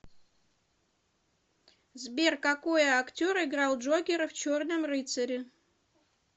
сбер какои актер играл джокера в черном рыцаре